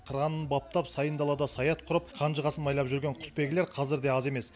қыранын баптап сайын далада саят құрып қанжығасын майлап жүрген құсбегілер қазір де аз емес